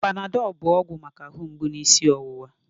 Panadọl bụ ọgwụ maka ahụ mgbụ na isi ọwụwa